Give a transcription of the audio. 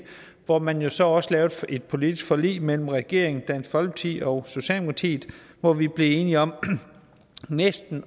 hvor man jo så også lavede et politisk forlig mellem regeringen dansk folkeparti og socialdemokratiet hvor vi blev enige om næsten